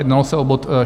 Jednalo se o bod